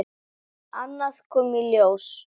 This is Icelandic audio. Annað kom í ljós.